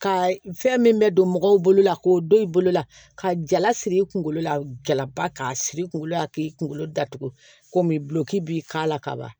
Ka fɛn min bɛ don mɔgɔw bolola k'o don i bolo la ka jala siri i kunkolo la jalaba k'a siri i kunkolo la k'i kungolo datugu komi bulɔki b'i k'a la kaban